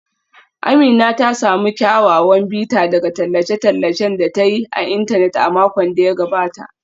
Amina ta samu kyawawan bita daga tallace-tallacen da ta yi a intanet a makon da ya gabata.